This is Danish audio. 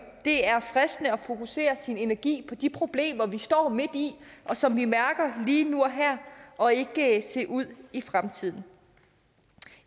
det er fristende at fokusere sin energi på de problemer vi står midt i og som vi mærker lige nu og her og ikke se ud i fremtiden